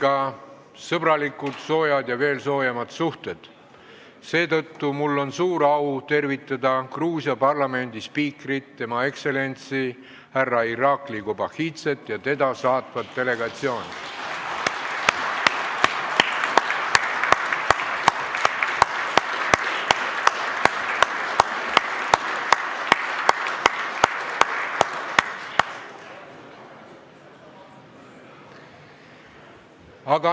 Meil on ühe riigiga sõbralikud, soojad ja veel soojemad suhted, seetõttu mul on suur au tervitada Gruusia parlamendi spiikrit, Tema Ekstsellentsi härra Irakli Kobakhidzet ja teda saatvat delegatsiooni.